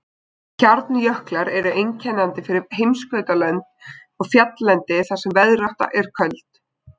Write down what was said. Hjarnjöklar eru einkennandi fyrir heimskautalönd og fjalllendi þar sem veðrátta er köld.